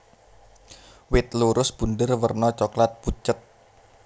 Wit lurus bunder werna coklat pucet